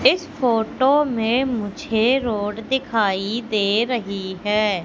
इस फोटो में मुझे रोड दिखाई दे रही है।